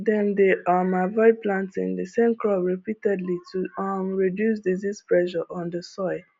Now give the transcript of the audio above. dem dey um avoid planting the same crop repeatedly to um reduce disease pressure on the soil